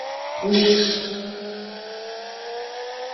лук